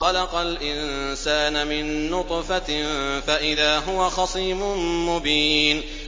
خَلَقَ الْإِنسَانَ مِن نُّطْفَةٍ فَإِذَا هُوَ خَصِيمٌ مُّبِينٌ